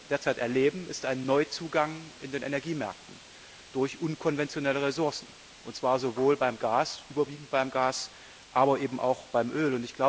Was wir derzeit erleben, ist ein Neuzugang in den Energiemärkten durch unkonventionelle Ressourcen, und zwar sowohl überwiegend beim Gas, aber eben auch beim Öl.